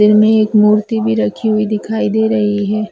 इनमें एक मूर्ति भी रखी हुई दिखाई दे रही है।